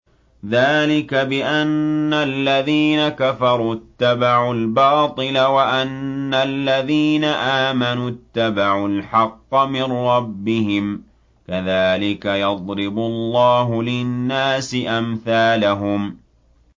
ذَٰلِكَ بِأَنَّ الَّذِينَ كَفَرُوا اتَّبَعُوا الْبَاطِلَ وَأَنَّ الَّذِينَ آمَنُوا اتَّبَعُوا الْحَقَّ مِن رَّبِّهِمْ ۚ كَذَٰلِكَ يَضْرِبُ اللَّهُ لِلنَّاسِ أَمْثَالَهُمْ